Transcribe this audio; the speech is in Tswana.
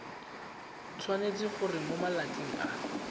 tshwanetse gore mo malatsing a